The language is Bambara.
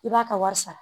I b'a ka wari sara